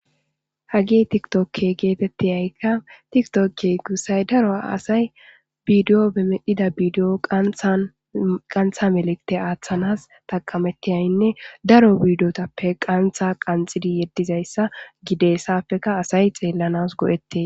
Hagey tiktoke geetetiyayka tiktoke gussay daro asay bidiyo be medhida bidiyo qanthan qantha melikte aathanas taqametiyanne daro bidiyota qantha qanxidi yedizayssa gidees haapeka asay xeelanas go'etes.